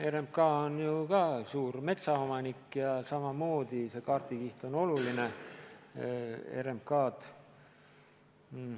RMK on ju ka suur metsaomanik ja see kaardikiht on neilegi oluline.